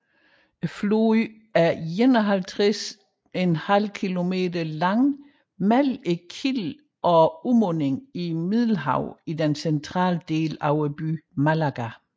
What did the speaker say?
Floden er 51½ kilometer lang mellem kilden og udmunding i Middelhavet i den centrale del af byen Málaga